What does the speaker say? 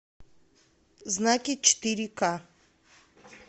знаки четыре к